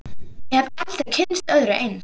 Ég hef aldrei kynnst öðru eins.